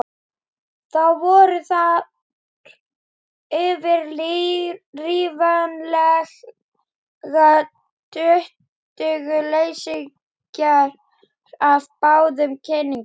Þá voru þar fyrir ríflega tuttugu leysingjar af báðum kynjum.